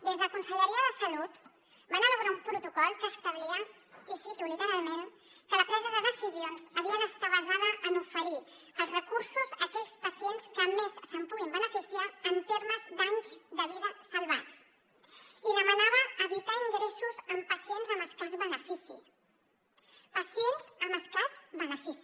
des de conselleria de salut van elaborar un protocol que establia i cito literalment que la presa de decisions havia d’estar basada en oferir els recursos a aquells pacients que més se’n puguin beneficiar en termes d’anys de vida salvats i demanava evitar ingressos en pacients amb escàs benefici pacients amb escàs benefici